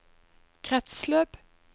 kretsløp